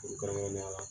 Kɛn kɛrɛnkɛrɛnnenya la